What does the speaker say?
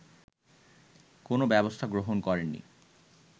কোনো ব্যবস্থা গ্রহণ করেননি